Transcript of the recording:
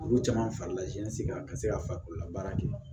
Olu caman farala jɛnsɛla ka se ka farikolo labaara kɛ